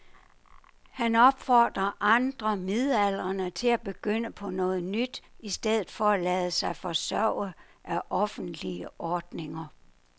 Han opfordrer andre midaldrende til at begynde på noget nyt i stedet for at lade sig forsørge af offentlige ordninger.